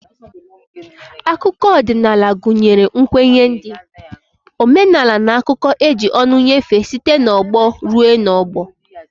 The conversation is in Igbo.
Akụkọ odinaala gunyere nkwnye ndi, omenala n'akuko eji ọnụ nyefee site n'ọgbọ rue n'ogbo.